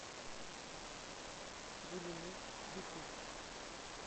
гулинур ютуб